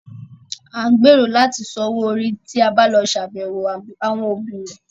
À ń gbèrò láti san owó orí tí a bá lọ ṣàbẹ̀wọ̀ àwọn òbí remẹ̀